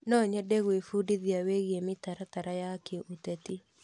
No nyende gwĩbundithia wĩgiĩ mĩtaratara ya kĩũteti.